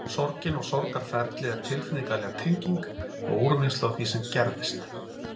Sorgin og sorgarferlið er tilfinningaleg tenging og úrvinnsla á því sem gerðist.